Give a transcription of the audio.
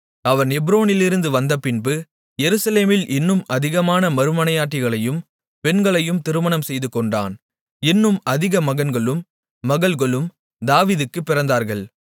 அவன் எப்ரோனிலிருந்து வந்த பின்பு எருசலேமில் இன்னும் அதிகமான மறுமனையாட்டிகளையும் பெண்களையும் திருமணம் செய்துகொண்டான் இன்னும் அதிக மகன்களும் மகள்களும் தாவீதுக்குப் பிறந்தார்கள்